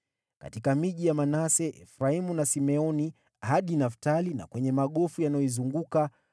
Katika miji ya Manase, Efraimu na Simeoni, hadi Naftali na kwenye magofu yanayoizunguka,